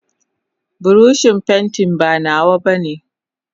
buroshin pantin ba nawa bane.